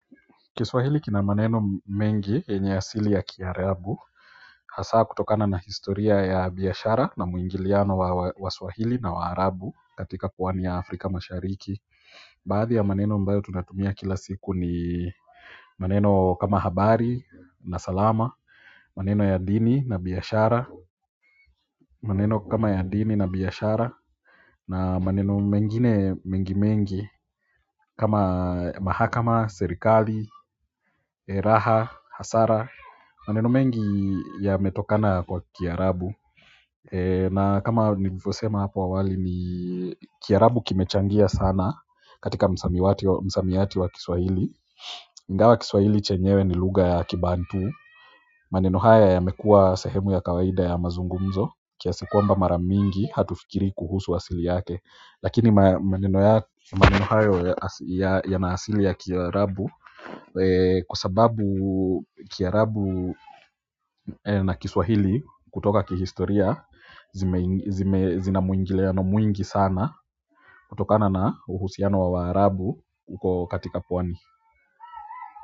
Kiswahili kina maneno mengi yenye asili ya Kiarabu hasaa kutokana na historia ya biashara na muingiliano wa swahili na wa arabu katika pwani ya Afrika mashariki baadhi ya maneno ambayo tunatumia kila siku ni maneno kama habari na salama maneno ya dini na biashara maneno kama ya dini na biashara na maneno mengine mengi mengi kama mahakama, serikali, raha, hasara maneno mengi yametokana kwa Kiarabu na kama nilivyo sema hapo wawali ni Kiarabu kimechangia sana katika msamiati wa Kiswahili ingawa Kiswahili chenyewe ni luga ya kibantu maneno haya yamekua sehemu ya kawaida ya mazungumzo kiasi kwamba mara mingi hatufikiri kuhusu asili yake lakini maneno haya yana asili ya Kiarabu kwa sababu Kiarabu na Kiswahili kutoka kihistoria zina muingiliano mwingi sana kutokana na uhusiano wa waarabu huko katika pwani.